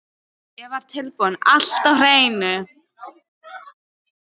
Ég var tilbúinn- allt á hreinu